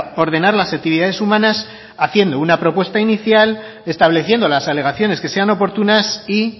ordenar las actividades humanas haciendo una propuesta inicial estableciendo las alegaciones que sean oportunas y